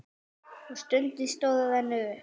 Og stundin stóra rennur upp.